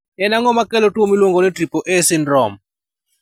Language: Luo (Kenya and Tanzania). En ang'o makelo tuwo miluongo ni triple A syndrome?